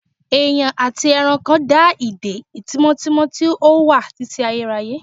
Èèyàn àti ẹranko dá ìdè tímọ́tímọ́ tí ó wà títí ayérayé